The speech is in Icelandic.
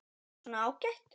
Svona, ágætt.